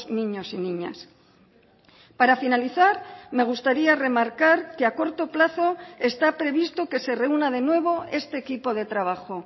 niños y niñas para finalizar me gustaría remarcar que a corto plazo está previsto que se reúna de nuevo este equipo de trabajo